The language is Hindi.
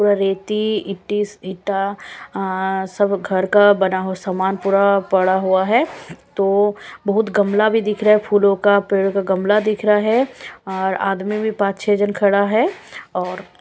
पूरा रेती ईटीस इटा आ सब घर का बना हुआ समान पूरा पड़ा हुआ है तो बहुत गमला भी दिख रहा है फूलों का पेड़ का गमला दिख रहा है और आदमी भी पांच छह जन खड़ा है और--